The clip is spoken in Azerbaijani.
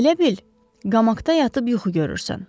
Elə bil qamakda yatıb yuxu görürsən.